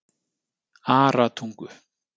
Aratungu